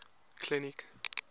clinic